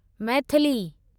Maithili